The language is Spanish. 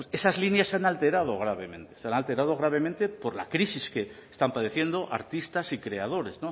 pues esas líneas se han alterado gravemente se han alterado gravemente por la crisis que están padeciendo artistas y creadores